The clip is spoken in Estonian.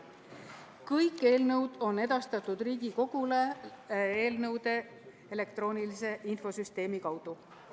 Kõik eelnõud on edastatud Riigikogule eelnõude elektroonilise infosüsteemi kaudu.